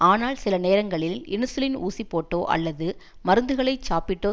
ஆனால் சில நேரங்களில் இன்சுலின் ஊசிபோட்டோ அல்லது மருந்துகளைச் சாப்பிட்டோ